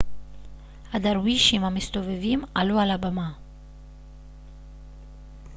הדרווישים המסתובבים עלו על הבמה